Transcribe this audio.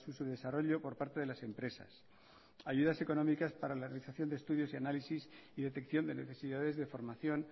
su desarrollo por parte de las empresas ayudas económicas para la realización de estudios y análisis y detección de necesidades de formación